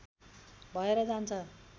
भएर जान्छ